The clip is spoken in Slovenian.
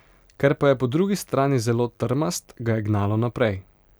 Ker pa je po drugi strani zelo trmast, ga je gnalo naprej.